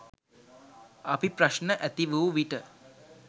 අපි ප්‍රශ්න ඇති වූ විට